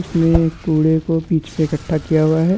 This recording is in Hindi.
उसमे एक कूड़े को बिच में इकठ्ठा किया हुआ है।